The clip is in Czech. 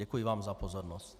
Děkuji vám za pozornost.